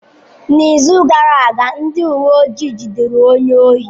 N'izu gara aga, ndị uwe ojii jidere onye ohi.